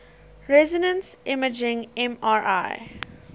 resonance imaging mri